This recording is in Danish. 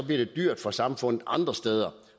det dyrt for samfundet andre steder